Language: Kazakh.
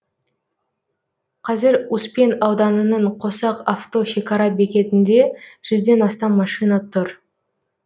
қазір успен ауданының қосақ авто шекара бекетінде жүзден астам машина тұр